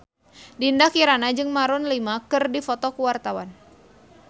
Dinda Kirana jeung Maroon 5 keur dipoto ku wartawan